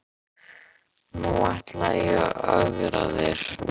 Nú ætla ég að ögra þér.